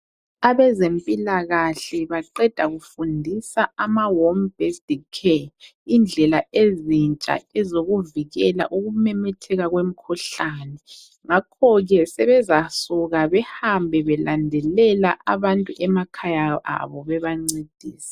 Abezempilakahle baqeda kufundisa amahome based care indlela ezintsha ezokuvikela ukumemetheka kwemkhuhlane. Ngakhoke sebezasuka belandelela abantu emakhaya abo bebancedisa.